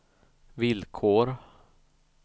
villkor